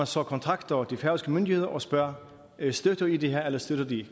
så kontakter de færøske myndigheder og spørger støtter i det her eller støtter i